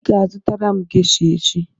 ị ga-azụtara m gesha echi!